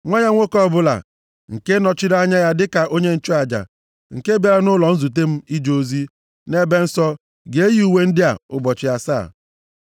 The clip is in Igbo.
Nwa ya nwoke ọbụla nke nọchiri anya ya dịka onye nchụaja, nke bịara nʼụlọ nzute m ije ozi nʼEbe Nsọ ga-eyi uwe ndị a ụbọchị asaa.